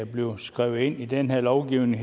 blive skrevet ind i den her lovgivning